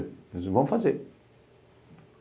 Ela disse, vamos fazer.